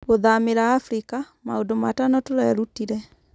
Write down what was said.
Gũthamĩra Afirika: Maũndũ Matano Tũrerutire